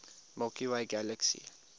milky way galaxy